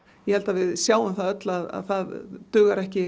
ég held að við sjáum öll að það dugar ekki